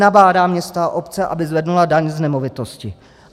Nabádá města a obce, aby zvedly daň z nemovitosti.